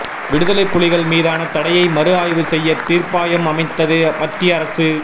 விடுதலை புலிகள் மீதான தடையை மறு ஆய்வு செய்ய தீர்ப்பாயம் அமைத்தது மத்திய அரசு